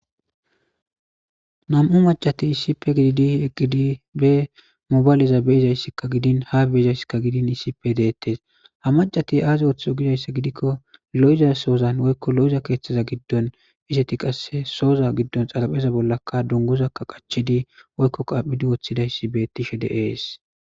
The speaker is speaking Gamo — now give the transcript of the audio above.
Nam'u macati issipe gididi eqqidi be mobayleza beizayssikka gidin ha beizayssikka gidin issipe deettes ha macati aaze woththizo gidayssa gidikko lo'iza soozan woykko lo'iza keeththaza giddon iseti qasse sooza giddon xalapheza bollaka dunguzakka qachedi woykko qaaphidi woththidayssi bettishe deees